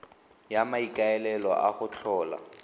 ka maikaelelo a go tlhola